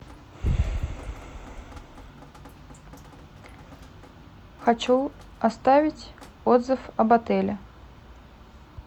хочу оставить отзыв об отеле